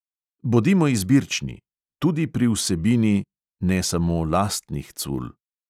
Bodimo izbirčni – tudi pri vsebini... ne samo lastnih cul.